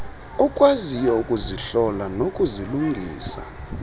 okwaziyo ukuzihlola nokuzilungisa